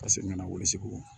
Ka segin ka na weele segu